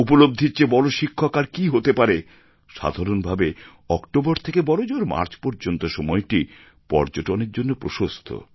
উপলব্ধির চেয়ে বড় শিক্ষক আর কী হতে পারে সাধারণভাবে অক্টোবর থেকে বড়জোর মার্চ পর্যন্ত সময়টি পর্যটনের জন্য প্রশস্ত